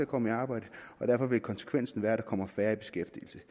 komme i arbejde og derfor vil konsekvensen være at der kommer færre i beskæftigelse